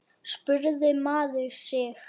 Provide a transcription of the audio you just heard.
spurði maður sig.